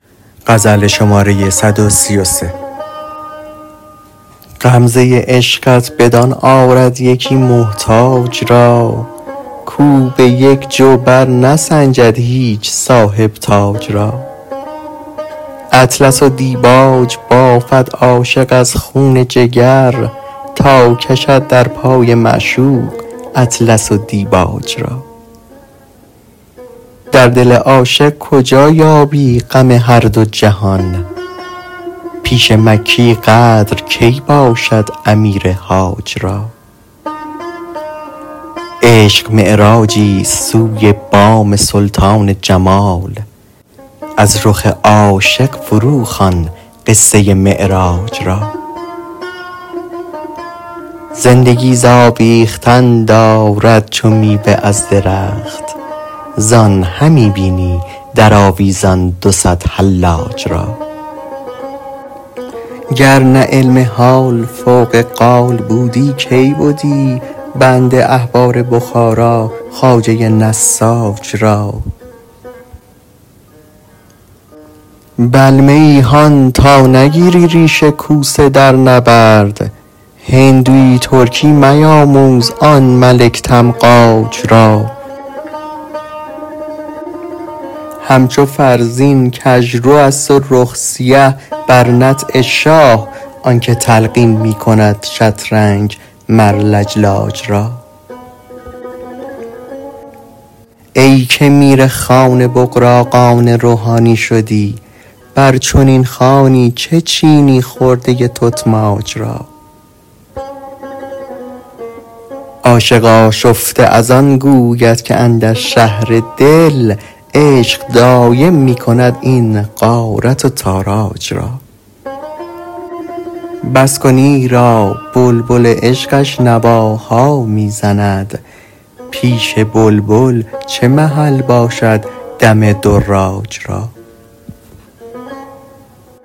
غمزه عشقت بدان آرد یکی محتاج را کاو به یک جو برنسنجد هیچ صاحب تاج را اطلس و دیباج بافد عاشق از خون جگر تا کشد در پای معشوق اطلس و دیباج را در دل عاشق کجا یابی غم هر دو جهان پیش مکی قدر کی باشد امیر حاج را عشق معراجیست سوی بام سلطان جمال از رخ عاشق فروخوان قصه معراج را زندگی ز آویختن دارد چو میوه از درخت زان همی بینی در آویزان دو صد حلاج را گر نه علم حال فوق قال بودی کی بدی بنده احبار بخارا خواجه نساج را بلمه ای هان تا نگیری ریش کوسه در نبرد هندوی ترکی میاموز آن ملک تمغاج را همچو فرزین کژروست و رخ سیه بر نطع شاه آنک تلقین می کند شطرنج مر لجلاج را ای که میرخوان بغراقان روحانی شدی بر چنین خوانی چه چینی خرده تتماج را عاشق آشفته از آن گوید که اندر شهر دل عشق دایم می کند این غارت و تاراج را بس کن ایرا بلبل عشقش نواها می زند پیش بلبل چه محل باشد دم دراج را